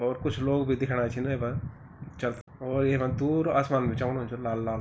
और कुछ लोग बि छिन दिखेणा वेमा च और येमा दूर आसमान बि चमकुणु च लाल लाल ।